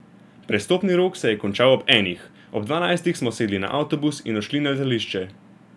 Prestopni rok se je končal ob enih, ob dvanajstih smo sedli na avtobus in odšli na letališče.